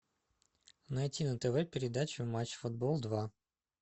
найти на тв передачу матч футбол два